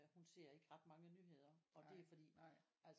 Hun ser ikke ret mange nyheder og det er fordi altså